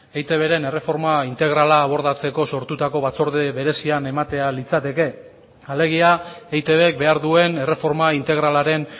eitbren erreforma integrala abordatzeko sortutako batzorde berezian ematea litzateke alegia eitbk behar duen erreforma integralaren